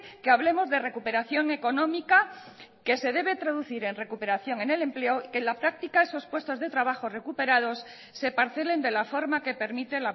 que hablemos de recuperación económica que se debe traducir en recuperación en el empleo y que en la práctica esos puestos de trabajo recuperados se parcelen de la forma que permite